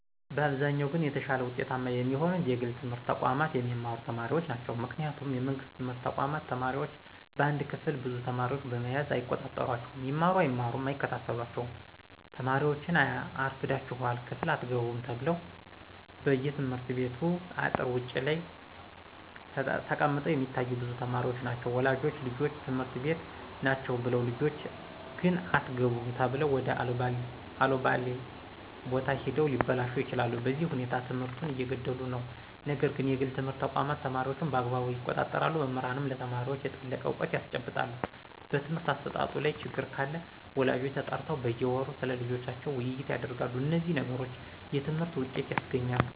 በአብዛኛው ግን የተሻለ ውጤታማ የሚሆኑት የግል ትምህርት ተቋማት የሚማሩ ተማሪዎች ናቸው ምክንያቱም የመንግስት ትምህርት ተቋማት ተማሪዎች በአንድ ክፍል ብዙ ተማሪዎችን በመያዝ አይቆጣጠሯቸውም ይማሩ አይማሩ አይከታተሏቸውም ተማሪዎችን አርፍዳችሗል ክፍል አትገቡም ተብለው በየትምህርት ቤቱ አጥር ውጭ ላይ ተቀምጠው የሚታዮ ብዙ ተማሪዎች ናቸው ወላጆች ልጆች ትምህርት ቤት ናቸው ብለው ልጆች ግን አትገቡም ተብለው ወደ አለባሌ ቦታ ሂደው ሊበላሹ ይችላሉ በዚህ ሁኔታ ትምህርቱን እየገደሉት ነው ነገር ግን የግል ትምህርት ተቋማት ተማሪዎችን በአግባቡ ይቆጣጠራሉ መምህራንም ለተማሪዎች የጠለቀ እውቀት ያስጨብጣሉ በትምህርት አሰጣጡ ላይ ችግር ካለ ወላጆች ተጠርተው በየወሩ ስለልጆቻቸው ውይይት ያደርጋሉ እነዚህ ነገሮች የትምህርትን ውጤት ያስገኛሉ